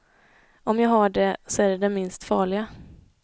Om jag har det, så är det det minst farliga.